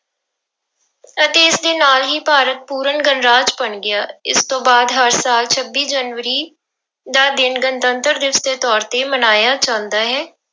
ਅਤੇ ਇਸਦੇ ਨਾਲ ਹੀ ਭਾਰਤ ਪੂਰਨ ਗਣਰਾਜ ਬਣ ਗਿਆ, ਇਸ ਤੋਂ ਬਾਅਦ ਹਰ ਸਾਲ ਛੱਬੀ ਜਨਵਰੀ ਦਾ ਦਿਨ ਗਣਤੰਤਰ ਦਿਵਸ ਦੇ ਤੌਰ ਤੇ ਮਨਾਇਆ ਜਾਂਦਾ ਹੈ।